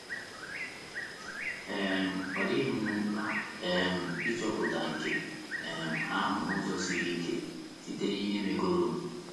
um Ọ dịghị m mkpa um ịchọpụta nke um ahụ n’ụzọ siri ike — site n’ihe megoro m. ”